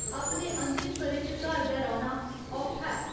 अपने अंतिम ब'रे च घर गै रौह्‌ना औखा ऐ।